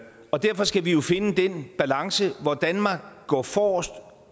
og derfor skal vi jo finde den balance hvor danmark går forrest